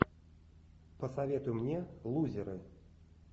посоветуй мне лузеры